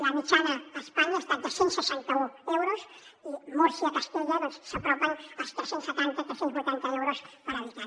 la mitjana a espanya ha estat de cent i seixanta un euros i múrcia castella s’apropen als tres cents i setanta tres cents i vuitanta euros per habitant